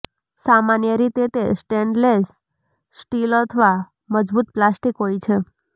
સામાન્ય રીતે તે સ્ટેઈનલેસ સ્ટીલ અથવા મજબૂત પ્લાસ્ટિક હોય છે